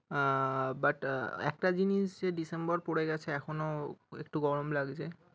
আহ but একটা জিনিস যে december পরে গিয়েছে এখনো একটু গরম লাগছে।